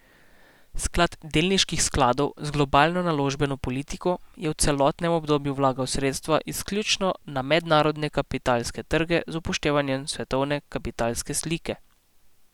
Sklad delniških skladov z globalno naložbeno politiko je v celotnem obdobju vlagal sredstva izključno na mednarodne kapitalske trge z upoštevanjem svetovne kapitalske slike.